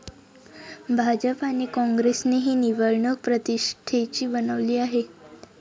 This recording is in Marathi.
भाजप आणि कॉंग्रेसने ही निवडणूक प्रतिष्ठेची बनवली आहे.